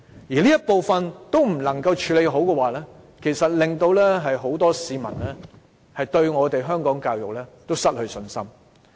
如果局方連這部分問題也處理不好，很多市民會對香港教育失去信心。